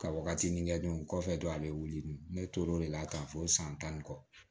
Ka wagatinin kɛ don kɔfɛ dɔrɔn a be wuli ne tor'o de la tan fo san tan ni kɔ